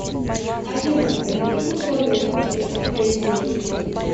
афина при каких условиях реструктуризируют кредит